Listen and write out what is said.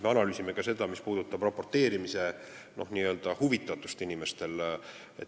Me analüüsime ka seda, milline on inimeste n-ö huvitatus raporteerida.